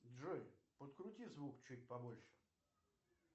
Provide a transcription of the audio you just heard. джой подкрути звук чуть побольше